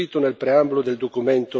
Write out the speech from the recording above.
del Consiglio di associazione.